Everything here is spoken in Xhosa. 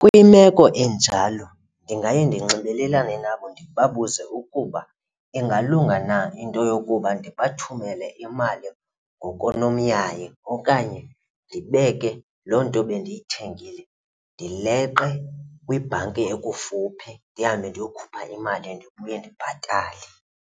Kwimeko enjalo ndingaye ndinxibelelane nabo ndibabuze ukuba ingalunga na into yokuba ndibathumele imali ngokonomyayi okanye ndibeke loo nto bendiyithengile ndileqe kwibhanki ekufuphi, ndihambe ndiyokhupha imali ndibuye ndibhatale.